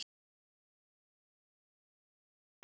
Hann grefur holu.